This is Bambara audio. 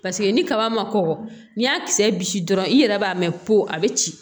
Paseke ni kaba ma kɔgɔ n'i y'a kisɛ bi dɔrɔn i yɛrɛ b'a mɛn ko a be ci